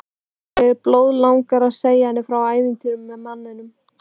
En mig blóðlangar að segja henni frá ævintýrinu með manninum.